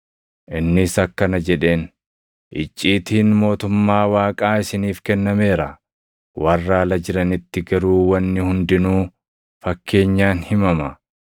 Innis akkana jedheen; “Icciitiin mootummaa Waaqaa isiniif kennameera. Warra ala jiranitti garuu wanni hundinuu fakkeenyaan himama;